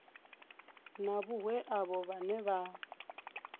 na vhohe avho vhane vha